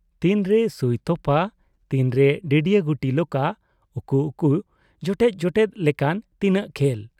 ᱛᱤᱱ ᱨᱮ ᱥᱩᱭ ᱛᱚᱯᱟ , ᱛᱤᱱᱨᱮ ᱰᱟᱺᱰᱤᱭᱟᱹ ᱜᱩᱴᱤ ᱞᱚᱠᱟ, ᱩᱠᱩ ᱩᱠᱩ, ᱡᱚᱴᱮᱫ ᱡᱚᱴᱮᱫ ᱞᱮᱠᱟᱱ ᱛᱤᱟᱹᱜ ᱠᱷᱮᱞ ᱾